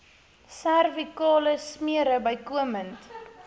servikale smere bykomend